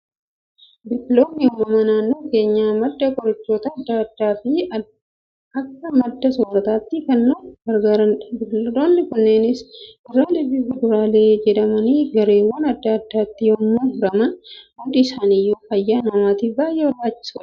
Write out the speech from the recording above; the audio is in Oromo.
Biqiloonni uumamaa naannoo keenyaa madda qorichootaa addaa addaa fi akka madda soorrataatti kan nu gargaaranidha. Biqiloonni kunneenis kuduraalee fi fuduraalee jedhamanii gareewwan addaa addaatti yemmuu hiraman, hundi isaaniiyyuu fayyaa namaatiif baayyee barbaachisoodha.